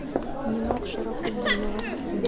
нинок шарафутдинова